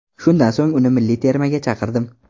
Shundan so‘ng uni milliy termaga chaqirdim.